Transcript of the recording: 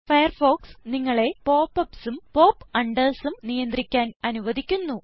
Firefox നിങ്ങളെ pop upsഉം pop undersഉം നിയന്ത്രിക്കാൻ അനുവദിക്കുന്നു